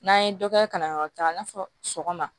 N'an ye dɔ kɛ kalanyɔrɔ caman i n'a fɔ sɔgɔma